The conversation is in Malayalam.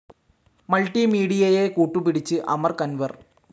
മൾട്ടി മീഡിയയെ കൂട്ടുപിടിച്ച് അമർ കൻവർ